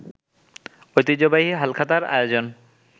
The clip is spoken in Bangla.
ঐতিহ্যবাহী হালখাতার আয়োজন